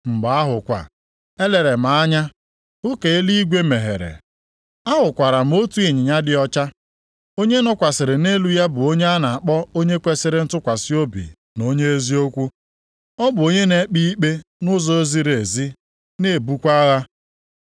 Mgbe ahụ kwa, elere m anya hụ ka eluigwe meghere. Ahụkwara m otu ịnyịnya dị ọcha. Onye nọkwasịrị nʼelu ya bụ onye a na-akpọ Onye kwesiri ntụkwasị obi na Onye eziokwu. Ọ bụ onye na-ekpe ikpe nʼụzọ ziri ezi na-ebukwa agha.